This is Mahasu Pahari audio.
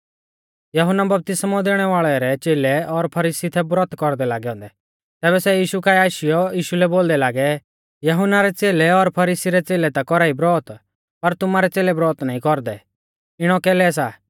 यहुन्ना बपतिस्मौ दैणै वाल़ै रै च़ेलै और फरीसी थै ब्रौत कौरदै लागै औन्दै तैबै सै यीशु काऐ आशीयौ यीशु लै बोलदै लागै यहुन्ना रै च़ेलै और फरीसी रै च़ेलै ता कौरा ई ब्रौत पर तुमारै च़ेलै ब्रौत नाईं कौरदै इणौ कैलै सा